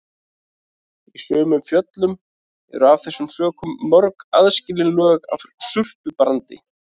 Í sumum fjöllum eru af þessum sökum mörg aðskilin lög af surtarbrandi.